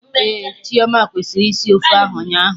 Ehhh, Chioma kwesịrị isi ofe akwụ ụnyaahụ